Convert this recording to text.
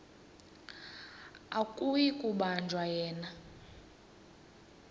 akuyi kubanjwa yena